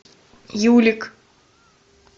юлик